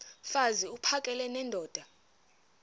mfaz uphakele nendoda